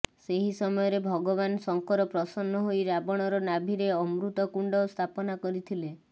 ସେହି ସମୟରେ ଭଗବାନ ଶଙ୍କର ପ୍ରସନ୍ନ ହୋଇ ରାବଣର ନାଭିରେ ଅମୃତ କୁଣ୍ଡ ସ୍ଥାପନା କରିଥିଲେ